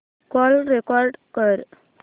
call record कर